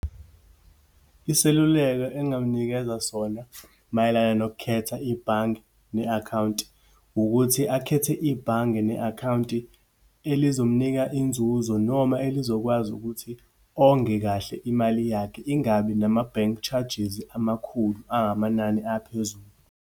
Isiluleko engamnikeza sona mayelana nokukhetha ibhange ne-akhawunti. Ukuthi akhethe ibhange ne-akhawunti elizomnika inzuzo noma elizokwazi ukuthi onge kahle imali yakhe, ingabi nama-bank charges amakhulu, angamanani aphezulu.